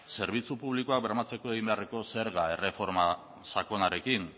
zerbitzu publikoak bermatzeko egin beharreko zerga erreforma sakonarekin